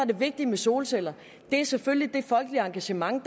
det vigtige med solceller er selvfølgelig det folkelige engagement